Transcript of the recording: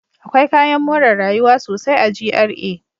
Akwai kayan more rayuwa sosai a GRA.